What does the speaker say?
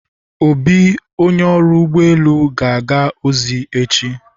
Obi, Onye ọrụ ụgbọ elu ga-aga ozi echi.